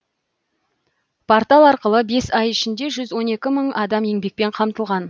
портал арқылы бес ай ішінде жүз он екі мың адам еңбекпен қамтылған